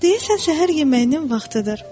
Deyəsən səhər yeməyinin vaxtıdır.